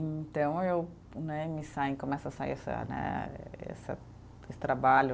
Então eu né, me saem, começa a sair essa né, essa esse trabalho.